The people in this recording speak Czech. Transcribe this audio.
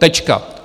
Tečka.